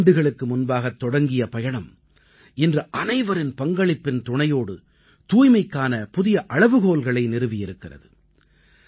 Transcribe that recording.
ஐந்தாண்டுகளுக்கு முன்பாகத் தொடங்கிய பயணம் இன்று அனைவரின் பங்களிப்பின் துணையோடு தூய்மைக்கான புதிய அளவுகோல்களை நிறுவி இருக்கிறது